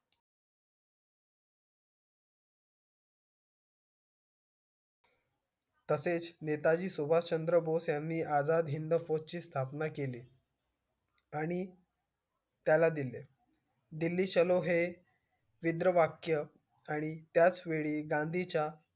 तसेच नेता जी सुभाष चंद्र बोस यांनी आझाद हिंद पद ची स्थापना केली आणि त्याला दिले delhi चलो हे वाक्य आणि त्याच वेळी गांधी च्या